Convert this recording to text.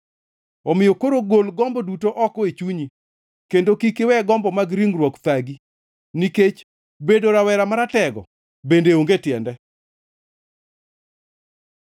Omiyo koro, gol gombo duto oko e chunyi kendo kik iwe gombo mag ringruok thagi, nikech bedo rawera maratego bende onge tiende.